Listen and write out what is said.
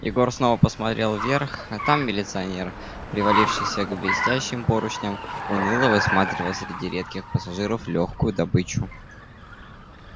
егор снова посмотрел вверх там милиционер привалившийся к блестящим поручням уныло высматривал среди редких пассажиров лёгкую добычу